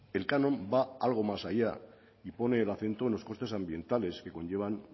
el canon va algo más allá y pone el acento en los costes ambientales que conllevan